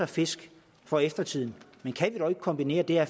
fisk for eftertiden men kan vi dog ikke kombinere det at